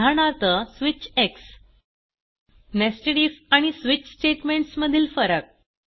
उदाहरणार्थ switch nested IF आणि switch statements मधील फरक